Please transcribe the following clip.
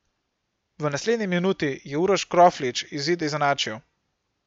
V naslednji minuti je Uroš Kroflič izid izenačil.